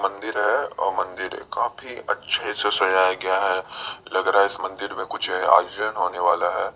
मंदिर है और मंदिर काफी अच्छे से सजाया गया है लग रहा है इस मंदिर में कुछ आयोजन होने वाला है।